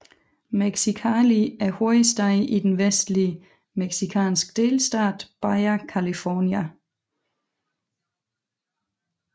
Mexicali er hovedstad i den vestlig mexicanske delstat Baja California